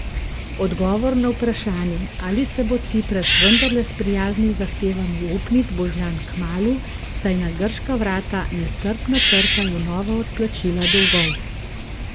Odgovor na vprašanje, ali se bo Cipras vendarle sprijaznil z zahtevami upnic, bo znan kmalu, saj na grška vrata nestrpno trkajo nova odplačila dolgov.